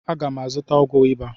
Aga m azụta ọgwụ ịba.